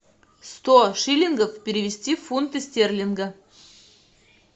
сто шиллингов перевести в фунты стерлинга